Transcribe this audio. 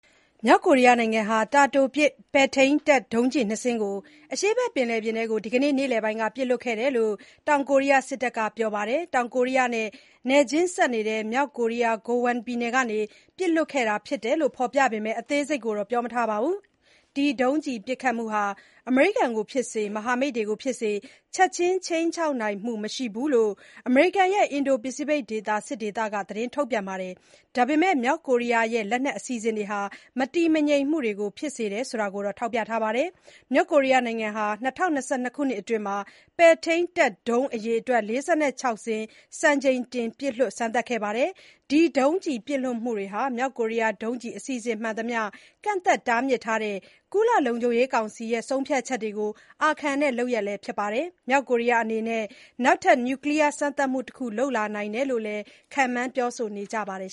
မြောက်ကိုရီးယားနိုင်ငံဟာ တာတိုပစ် ပဲ့ထိန်းတပ်ဒုံးကျည်နှစ်စင်းကို အရှေ့ဘက်ပင်လယ်ပြင်ထဲကို ဒီကနေ့ နေ့လည်ပိုင်းက ပစ်လွှတ်ခဲ့တယ်လို့ တောင်ကိုရီးယားစစ်တပ်က ပြောပါတယ်။ တောင်ကိုရီးယားနဲ့နယ်ချင်းစပ် မြောက်ကိုရီးယား Gangwon ပြည်နယ်ကနေ ပစ်လွှတ်ခဲ့တာဖြစ်တယ်လို့ ဖော်ပြပေမယ့် အသေးစိတ်တော့ ပြောမထားပါဘူး။ ဒီ ဒုံးကျည်ပစ်ခတ်မှုဟာ အမေရိကန်ကိုဖြစ်စေ၊ မဟာမိတ်တွေကိုဖြစ်စေ ချက်ချင်း ခြိမ်းခြောက်နိုင်မှုမရှိဘူးလို့ အမေရိကန်ရဲ့ အင်ဒို-ပစိဖိတ်ဒေသ စစ်ဒေသက ထုတ်ပြန်ပါတယ်။ ဒါပေမယ့် မြောက်ကိုရီးယားရဲ့လက်နက်အစီအစဉ်တွေဟာ မတည်ငြိမ်မှုတွေ ဖြစ်စေတယ်ဆိုတာကိုတော့ ထောက်ပြထားပါတယ်။ မြောက်ကိုရီးယားနိုင်ငံဟာ ၂၀၂၂ ခုနှစ်အတွင်း ပဲ့ထိန်းတပ်ဒုံးအရေအတွက် ၄၆ စင်း စံချိန်တင် ပစ်လွှတ်စမ်းသပ်ခဲ့ပါတယ်။ ဒီ ဒုံးကျည်ပစ်လွှတ်မှုတွေဟာ မြောက် ကိုရီးယား ဒုံးကျည် အစီအစဉ်မှန်သမျှ ကန့်သတ်တားမြစ်တဲ့ ကုလ လုံခြုံရေးကောင်စီ ဆုံးဖြတ်ချက်တွေကို အာခံတဲ့လုပ်ရပ်လည်း ဖြစ်ပါတယ်။ မြောက်ကိုရီးယားအနေနဲ့ နောက်ထပ် နျူကလီယား စမ်းသပ်မှုတခု လုပ်လာနိုင်တယ်လို့လည်း ခန့်မှန်းပြောဆိုနေကြပါတယ်